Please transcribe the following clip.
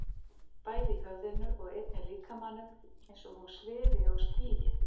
Bæði í höfðinu og einnig líkamanum, eins og hún svifi á skýi.